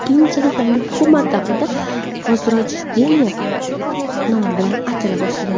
Keyinchalik yangi hukumat davrida Vozrojdeniye nomi bilan atala boshlagan.